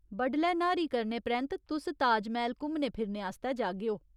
बडलै न्हारी करने परैंत्त, तुस ताज मैह्‌ल घुम्मने फिरने आस्तै जागेओ।